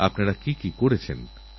কিন্তু আমার মনে হয় দেখার দরকার আছে